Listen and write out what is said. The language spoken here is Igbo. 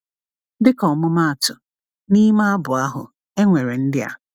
Dịka ọmụmaatụ, n’ime abụ ahụ, e nwere ndị a: